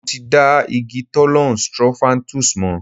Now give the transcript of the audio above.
Mo ti dá igi Thollon Strophanthus mọ̀.